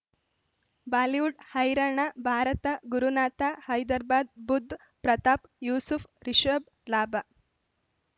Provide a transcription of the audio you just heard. Bollywood ಹೈರಾಣ ಭಾರತ ಗುರುನಾಥ ಹೈದರಾಬಾದ್ ಬುಧ್ ಪ್ರತಾಪ್ ಯೂಸುಫ್ ರಿಷಬ್ ಲಾಭ